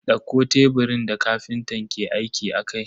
Dauko teburin da kafintan ke aiki akai.